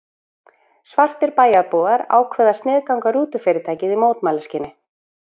Svartir bæjarbúar ákváðu að sniðganga rútufyrirtækið í mótmælaskyni.